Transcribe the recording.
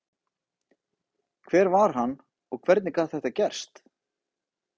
Hver var hann og hvernig gat þetta gerst?